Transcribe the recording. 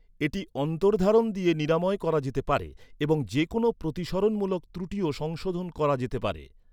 এটি অন্তর্ধারণ দিয়ে নিরাময় করা যেতে পারে এবং যে কোনও প্রতিসরনমূলক ত্রুটিও সংশোধন করা যেতে পারে।